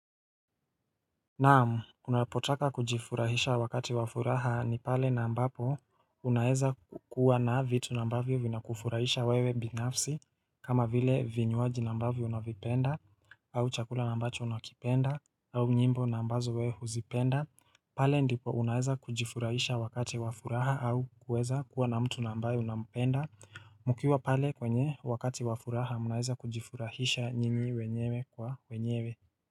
Naam, unapotaka kujifurahisha wakati wa furaha ni pale na ambapo unaeza kukuwa na vitu na ambavyo vinakufurahisha wewe binafsi kama vile vinywaji ambavyo unavipenda au chakula na ambacho unakipenda au nyimbo na ambazo wewe huzipenda. Pale ndipo unaeza kujifurahisha wakati wafuraha au kuweza kuwa na mtu na ambaye unapenda mkiwa pale kwenye wakati wafuraha unaeza kujifurahisha nyinyi wenyewe kwa wenyewe.